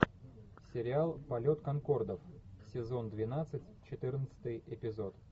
сериал полет конкордов сезон двенадцать четырнадцатый эпизод